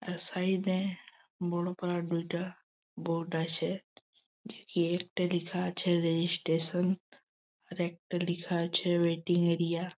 Side -এ বড়ো বড়ো দুইটা বোর্ড আছে একটায় লেখা আছে রেজিস্ট্রেশন একটাই লেখা আছে মিটিং এরিয়া ।